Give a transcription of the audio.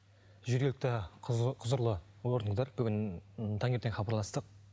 жергілікті құзырлы органдар бүгін таңертең хабарластық